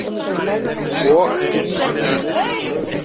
Og illa.